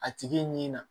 A tigi nin na